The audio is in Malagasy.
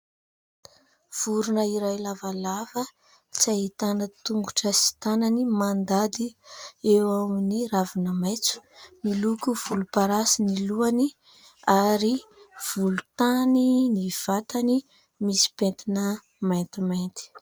Vorona iray lavalava tsy ahitana tongotra sy tanany mandady eo amin'ny ravina maitso, miloko volomparasy ny lohany ary volontany ny vatany misy pentina maintimainty.